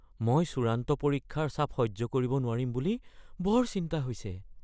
মই চূড়ান্ত পৰীক্ষাৰ চাপ সহ্য কৰিব নোৱাৰিম বুলি বৰ চিন্তা হৈছে।